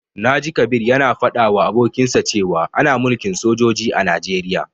Na ji Kabir ya na faɗa wa abokinsa cewa ana mulkin sojoji a Najeriya